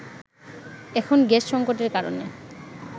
এখন গ্যাস সংকটের কারণে